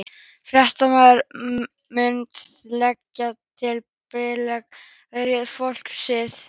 Fréttamaður: Munt þú leggja til breytingar á ráðherraliði flokksins?